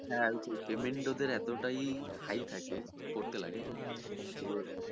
হ্যা payment ওদের এতটাই high থাকে করতে লাগে যে